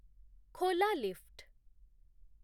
ଖୋଲା ଲିଫ୍ଟ